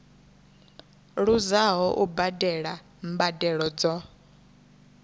luzaho u badela mbadelo dzo